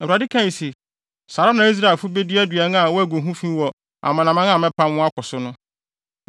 Awurade kae se: “Saa ara na Israelfo bedi aduan a wɔagu ho fi wɔ amanaman a mɛpam wɔn akɔ so no.”